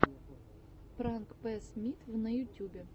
пранк пэссмитв на ютубе